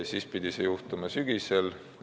Siis pidi see juhtuma sügisel.